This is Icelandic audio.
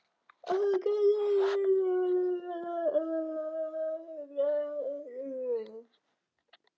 Ef þú gætir þetta, yrði þér líka samstundis ljóst að sameining blaðanna eru hugarórar.